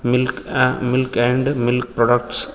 Milk milk and milk products .